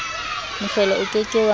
mohlolo o ke ke wa